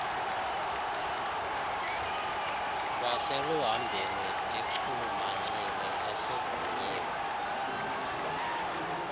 kwaseluhambeni bechulumancile esogqunyiwe